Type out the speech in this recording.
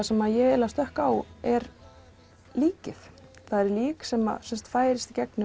sem ég stökk á er líkið það er lík sem færist í gegnum